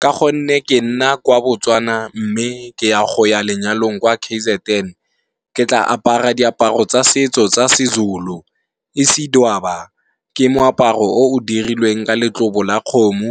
Ka gonne ke nna kwa Botswana, mme ke ya go ya lenyalong kwa K_Z_N, ke tla apara diaparo tsa setso tsa seZulu. Isidwaba ke moaparo o o dirilweng ka letlobo la kgomo